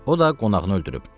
O da qonağını öldürüb.